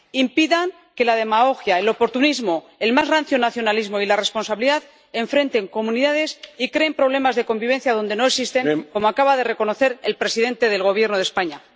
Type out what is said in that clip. Impidan que la demagogia, el oportunismo, el más rancio nacionalismo y la irresponsabilidad enfrenten a comunidades y creen problemas de convivencia donde no existen, como acaba de reconocer el presidente del Gobierno de España.